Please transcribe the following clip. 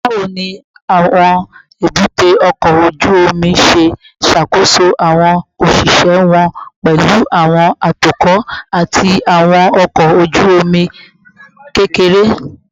Bawo ni awọn ebute oko oju omi ṣe ṣakoso awọn oṣiṣẹ wọn, pẹlu awọn atukọ ati awọn ọkọ oju-omi kekere?